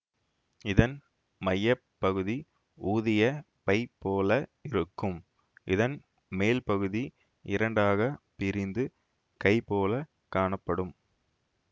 இதன் மைய பகுதி ஊதிய பை போல இருக்கும் இதன் மேல் பகுதி இரண்டாக பிரிந்து கை போலக் காணப்படும்